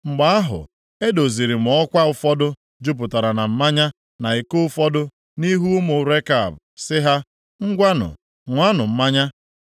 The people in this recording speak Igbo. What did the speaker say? Mgbe ahụ, e doziri m ọkwa ụfọdụ jupụtara na mmanya na iko ụfọdụ nʼihu ụmụ Rekab, sị ha, “Ngwanụ, ṅụanụ mmanya.”